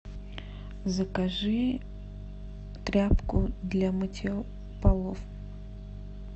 закажи тряпку для мытья полов